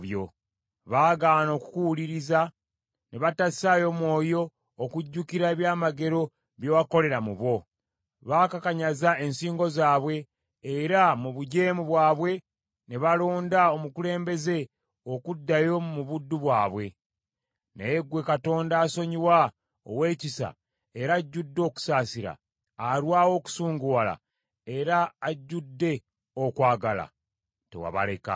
Baagaana okukuwuliriza, ne batassaayo mwoyo okujjukira ebyamagero bye wakolera mu bo. Baakakanyaza ensingo zaabwe, era mu bujeemu bwabwe ne balonda omukulembeze okuddayo mu buddu bwabwe. Naye ggwe Katonda asonyiwa, ow’ekisa era ajjudde okusaasira, alwawo okusunguwala era ajjudde okwagala, tewabaleka.